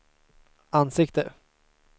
ansikte